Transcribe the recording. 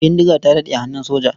Bindiga ta daɗe a hannun soja.